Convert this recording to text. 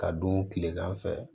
Ka don kilegan fɛ